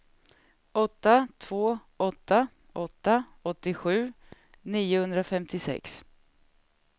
åtta två åtta åtta åttiosju niohundrafemtiosex